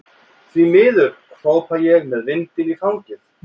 Því miður, hrópa ég með vindinn í fangið.